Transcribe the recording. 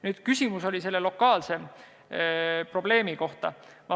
Nüüd, küsimus oli lokaalse probleemi kohta.